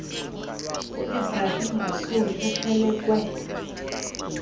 uebrahim rasool ephelekwe